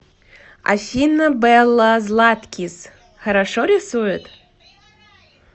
афина белла златкис хорошо рисует